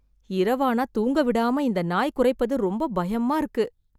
இரவான தூங்கவிடாம இந்த நாய் குறைப்பது ரொம்ப பயமா இருக்கு